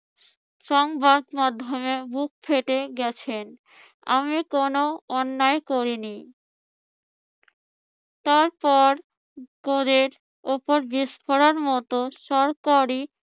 সংবাদ মাধ্যমে বুক ফেটে গেছেন আমি কোন অন্যায় করিনি তারপর গোঁদের উপর বিষ ফোঁড়ার মত সরকারি